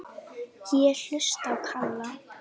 Ég hlusta á Kalla.